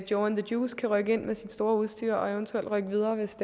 joe the juice kan rykke ind med sit store udstyr og eventuelt rykke videre hvis